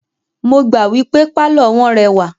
Mo gbà wípé pálọ̀ wọ́n rẹwà.